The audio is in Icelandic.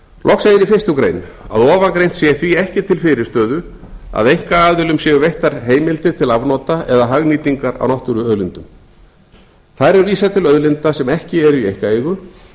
loks segir í fyrstu grein að ofangreint sé því ekki til fyrirstöðu að einkaaðilum séu veittar heimildir til afnota eða hagnýtingar á náttúruauðlindum þar er vísað til auðlinda sem ekki eru í einkaeigu